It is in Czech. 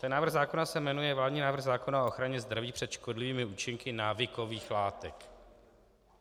Ten návrh zákona se jmenuje vládní návrh zákona o ochraně zdraví před škodlivými účinky návykových látek.